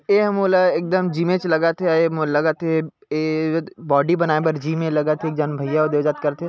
ए ह मोला एकदम जिमे च लगत हे ए मोल लगत हे ए बॉडी बनाए बर जिम ए च लगत हे एक झन भईया ओद ओ जात करथे--